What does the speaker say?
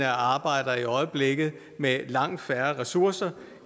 arbejder i øjeblikket med langt færre ressourcer